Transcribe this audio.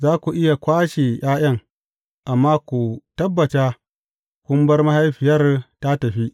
Za ku iya kwashe ’ya’yan, amma ku tabbata kun bar mahaifiyar tă tafi.